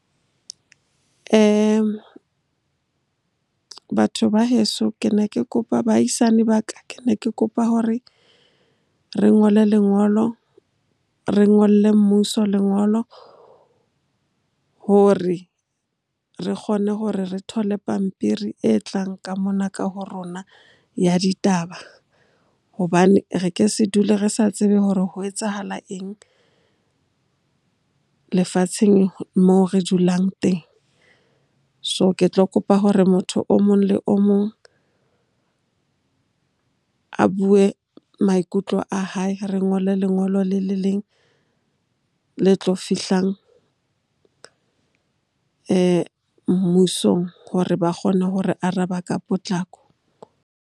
Batho ba heso, ke ne ke kopa baahisane ba ka, ke ne ke kopa hore re ngole lengolo. Re ngolle mmuso lengolo hore re kgone hore re thole pampiri e tlang ka mona ka ho rona ya ditaba. Hobane re ke se dule re sa tsebe hore ho etsahala eng lefatsheng moo re dulang teng? So ke tlo kopa hore motho omong le omong a bue maikutlo a hae. Re ngole lengolo le le leng le tlo fihlang mmusong hore ba kgone ho re araba ka potlako.